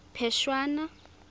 phešwana